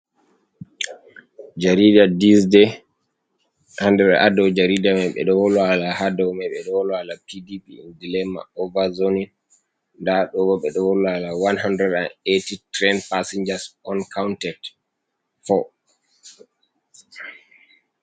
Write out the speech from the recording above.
Jariida dizdey, ha nder, ha dou jarida mai ɓe ɗo wola hala, ha dou mai ɓe ɗo wolo hala P.D.P dailema ova zoonin. Nda ɗo bo ɓe ɗo wola hala 180 tren pasinjas onkaunted foo.